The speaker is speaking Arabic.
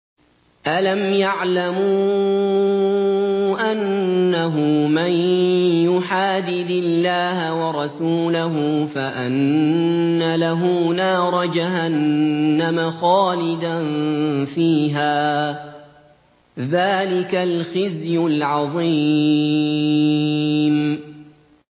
أَلَمْ يَعْلَمُوا أَنَّهُ مَن يُحَادِدِ اللَّهَ وَرَسُولَهُ فَأَنَّ لَهُ نَارَ جَهَنَّمَ خَالِدًا فِيهَا ۚ ذَٰلِكَ الْخِزْيُ الْعَظِيمُ